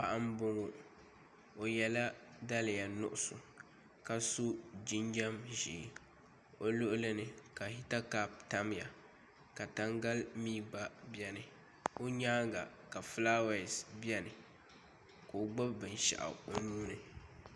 Paɣa n boŋo o yɛla daliya nuɣso ka so jinjɛm ʒiɛ o luɣuli ni ka hita kaap tamya ka tangali mii gba biɛni o nyaanga ka fulaawaasi biɛni ka o gbubi binshaɣu o nuuni